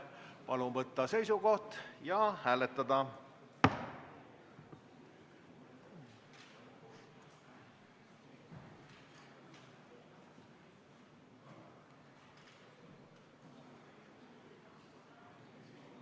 Palun võtta seisukoht ja hääletada!